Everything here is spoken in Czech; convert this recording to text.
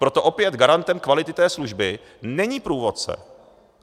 Proto opět garantem kvality té služby není průvodce.